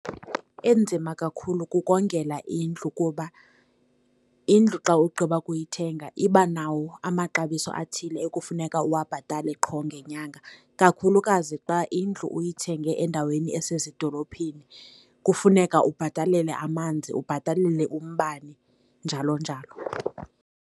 Enzima kakhulu kukongela indlu, kuba indlu xa ugqiba ukuyithenga iba nawo amaxabiso athile ekufuneka uwabhatale qho ngenyanga. Kakhulukazi xa indlu uyithenge endaweni esezidorophini, kufuneka ubhatalele amanzi, ubhatalele umbane, njalo njalo.